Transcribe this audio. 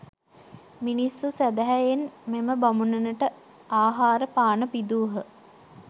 මිනිස්සු සැදැහැයෙන් මෙම බමුණනට ආහාර පාන පිදූහ.